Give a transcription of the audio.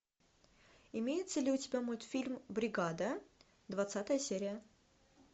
имеется ли у тебя мультфильм бригада двадцатая серия